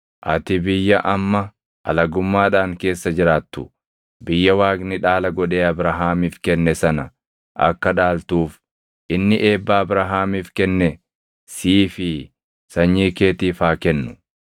Ati biyya amma alagummaadhaan keessa jiraattu, biyya Waaqni dhaala godhee Abrahaamiif kenne sana akka dhaaltuuf inni eebba Abrahaamiif kenne sii fi sanyii keetiif haa kennu.”